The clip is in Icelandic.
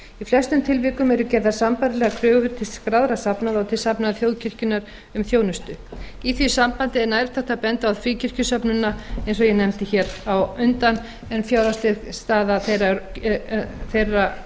flestum tilvikum eru gerðar sambærilegar kröfur til skráðra safnaða og til safnaða þjóðkirkjunnar um þjónustu í því sambandi er nærtækt að benda á fríkirkjusöfnuðina eins og ég nefndi hér á undan en fjárhagsleg staða þeirra